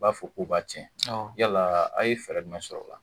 I b'a fɔ k'u b'a tiɲɛ yala a' ye fɛɛrɛ jumɛn sɔrɔ o la